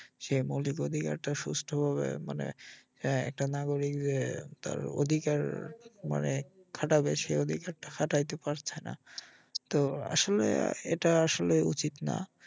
সে মৌলিক অধিকারটা সুষ্ঠুভাবে মানে এ ~ একটা নাগরিক যে তার অধিকার মানে খাটাবে সেই অধিকারটা খাটাইতে পারছে না তো আসলে এটা আসলে উচিত না